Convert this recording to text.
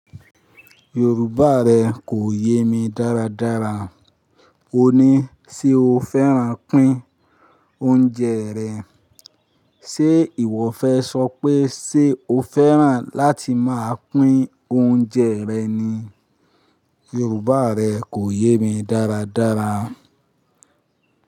Yorùbá rẹ kò yé mi dáradára. O ní, “ṣé o fẹ́ràn pín oúnjẹ rẹ?”Ṣé ìwọ fẹ́ sọ pé, “ṣé o fẹ́ràn láti máa pín oúnjẹ rẹ ni?” Yorùbá rẹ kò yé mi dáradára.